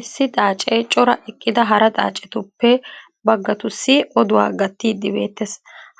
issi xaacee cora eqqida hara xaacetuppe bagatussi odduwaa gattiidi beetees.